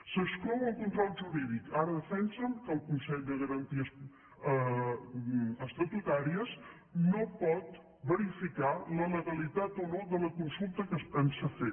se n’exclou el control jurídic ara defensen que el consell de garanties estatutàries no pot verificar la legalitat o no de la consulta que es pensa fer